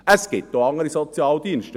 Es gibt auch andere Sozialdienste.